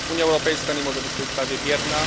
Unia Europejska nie może być w tej sprawie bierna.